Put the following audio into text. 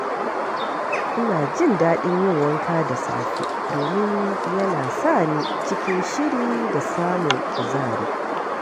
Ina jin daɗin yin wanka da safe domin yana sa ni cikin shiri da samun kuzari.